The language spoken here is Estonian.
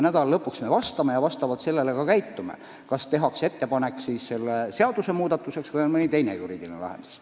Nädala lõpuks me vastame ja otsustame, kas tuleb ettepanek selle seaduse muutmiseks või on mõni teine juriidiline lahendus.